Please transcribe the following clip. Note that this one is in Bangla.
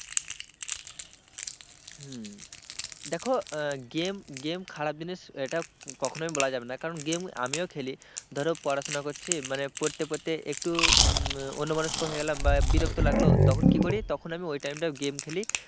হম দেখো game খারাপ জিনিস এটা কখনোই বলা যাবে না কারণ game আমিও খেলি, ধরো পড়াশোনা করছি, মানে পড়তে পড়তে একটু অন্য মনষ্ক হয়ে গেলাম বা বিরক্ত লাগলো তখন কি করি তখন আমি ওই time টায় game খেলি।